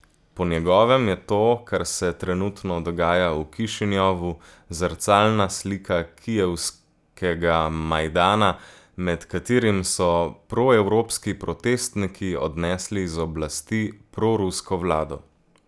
Po njegovem je to, kar se trenutno dogaja v Kišinjovu, zrcalna slika kijevskega Majdana, med katerim so proevropski protestniki odnesli z oblasti prorusko vlado.